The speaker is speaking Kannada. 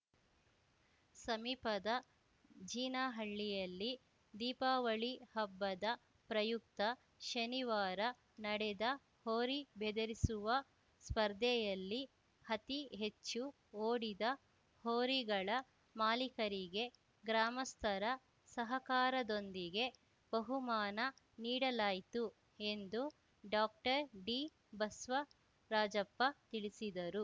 ಸಮೀಪದ ಜೀನಹಳ್ಳಿಯಲ್ಲಿ ದೀಪಾವಳಿ ಹಬ್ಬದ ಪ್ರಯುಕ್ತ ಶನಿವಾರ ನಡೆದ ಹೋರಿ ಬೆದರಿಸುವ ಸ್ಪರ್ಧೆಯಲ್ಲಿ ಅತೀ ಹೆಚ್ಚು ಓಡಿದ ಹೋರಿಗಳ ಮಾಲೀಕರಿಗೆ ಗ್ರಾಮಸ್ಥರ ಸಹಕಾರದೊಂದಿಗೆ ಬಹುಮಾನ ನೀಡಲಾಯಿತು ಎಂದು ಡಾಕ್ಟರ್ಡಿಬಸ್ವರಾಜಪ್ಪ ತಿಳಿಸಿದರು